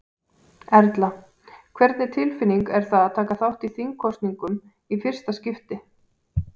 Erla: Hvernig tilfinning er það að taka þátt í þingkosningum í fyrsta skipti?